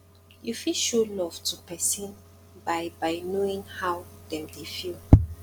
you fit show love to person by by knowing how dem dey feel